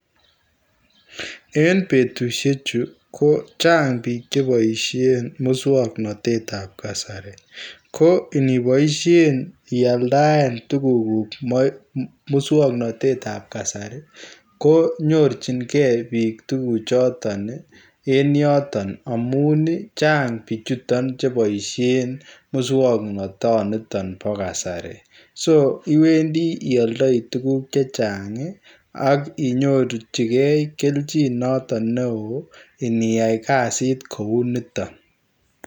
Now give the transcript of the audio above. En betushek chuu ko chaang biik che baisheen musangnatet ab kasari ko inibaisheen ialdaen tuguuk guuk en musangnatet ab kasari ko nyorjigei biik tuguuk chotoon ii en yotoon amuun chaang Bichon chebaisheen musangnatet niton bo kasari [so] iwendii iyaldai tuguuk chechaang ii ak inyorjigei keljiin notoon neo iniyai kazit koi nitoon.